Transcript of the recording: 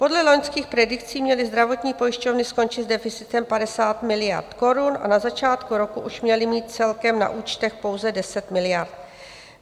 Podle loňských predikcí měly zdravotní pojišťovny skončit s deficitem 50 miliard korun a na začátku roku už měly mít celkem na účtech pouze 10 miliard.